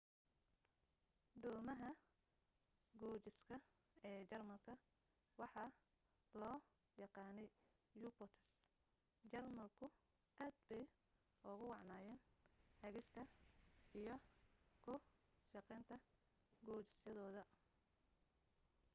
doomaha gujiska ee jarmalka waxa loo yaqaanay u-boats jarmalku aad bay ugu wacnaayeen hagista iyo ku shaqaynta gujisyadooda